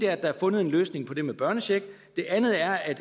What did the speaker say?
er at der er fundet en løsning på det med børnecheck det andet er